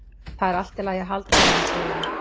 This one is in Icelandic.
Það er allt í lagi að halda á henni segir hún.